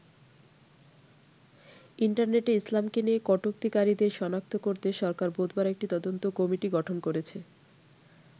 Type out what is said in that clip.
ইন্টারনেটে ইসলামকে নিয়ে কটুক্তিকারীদের সনাক্ত করতে সরকার বুধবার একটি তদন্ত কমিটি গঠন করেছে।